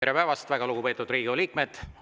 Tere päevast, väga lugupeetud Riigikogu liikmed!